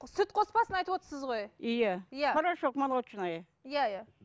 сүт қоспасын айтып отырсыз ғой иә порошок молочная иә иә